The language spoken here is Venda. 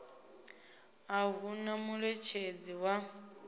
a hu na muṋetshedzi wa